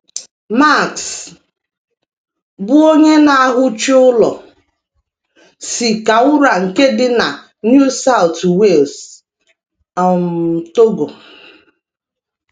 Max, bụ́ onye na - ahuchi ụlọ, si Cowra nke dị na New South Wales, um Togo.